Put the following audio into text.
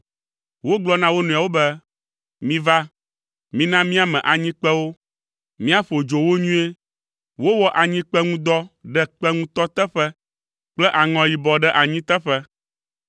Wogblɔ na wo nɔewo be, “Miva, mina míame anyikpewo, míaƒo dzo wo nyuie.” Wowɔ anyikpe ŋu dɔ ɖe kpe ŋutɔ teƒe kple aŋɔ yibɔ ɖe anyi teƒe.